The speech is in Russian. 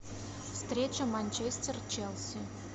встреча манчестер челси